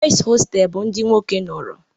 Boys hostels bụ ndị nwoke nọrọ